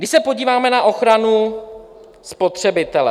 Když se podíváme na ochranu spotřebitele...